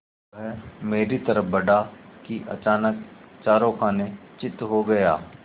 वह मेरी तरफ़ बढ़ा कि अचानक चारों खाने चित्त हो गया